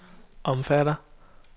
omfatter